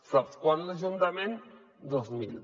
sap quants l’ajuntament dos mil